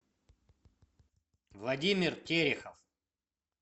владимир терехов